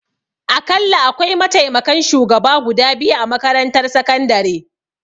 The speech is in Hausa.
Akalla akwai mataimakan shugaba guda biyu a makarantar sakandare